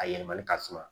A yɛlɛmali ka suma